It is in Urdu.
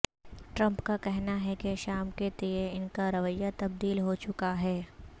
ٹرمپ کا کہنا ہے کہ شام کے تئیں ان کا رویہ تبدیل ہوچکا ہے